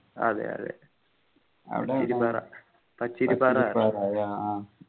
അതെ അതെ പാറ പച്ചിരി പാറ